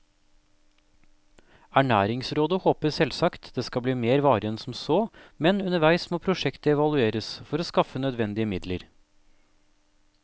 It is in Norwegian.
Ernæringsrådet håper selvsagt det skal bli mer varig enn som så, men underveis må prosjektet evalueres for å skaffe nødvendige midler.